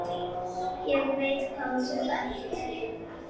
Ég veit hvað þú ert.